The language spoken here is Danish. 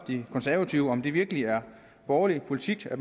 de konservative om det virkelig er borgerlig politik at